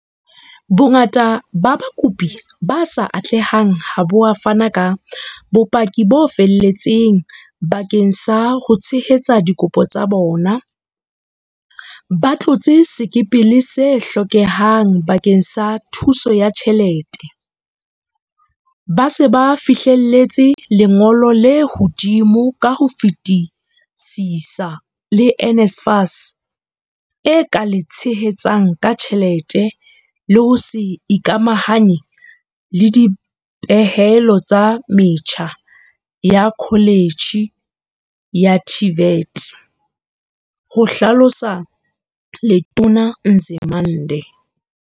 Bongata ba bakopi ba sa atlehang ha bo a fana ka bopaki bo felletseng bakeng sa ho tshehetsa dikopo tsa bona, ba tlotse sekepele se hlokehang bakeng sa thuso ya tjhelete. Ba se ba fihlelletse lengolo le hodimo ka ho fetisisa le NSFAS e ka le tshehetsang ka tjhelete le ho se ikamahanye le dipehelo tsa metjha ya koletjhe ya TVET, ho hlalosa letona Nzimande.